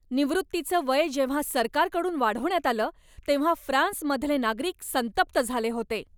निवृत्तीचं वय जेव्हा सरकारकडून वाढवण्यात आलं तेव्हा फ्रान्समधले नागरिक संतप्त झाले होते.